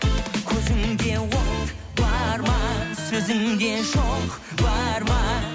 көзіңде от бар ма сөзіңде шоқ бар ма